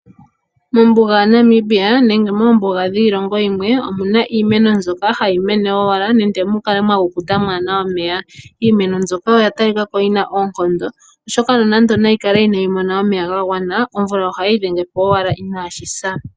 Mombuga yaNamibia nenge moombuga dhiilongo yimwe omu na iimeno mbyoka hayi mene wala nande mu mwa kukuta mwaa na omeya. Iimeno mbyoka oya talika ko yi na oonkondo, oshoka nonande yi kale inayi mona omeya ga gwana omvula otayi idhenge po ashike inashi sa.